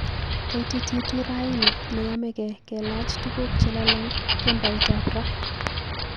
Kaitititu raini neyomegei kelach tuguk chelolong kemboutab raa